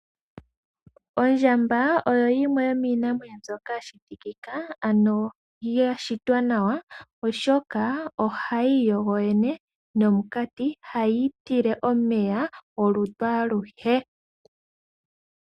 Ondjamba oyo yimwe yomiinamwenyo mbyoka ya shitika, ano ya shitwa nawa oshoka, ohayi iyogo yoyene nomukati, hayi itile omeya olutu aluhe.